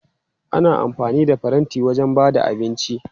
Ana amfani da faranti wajen ba da abinci.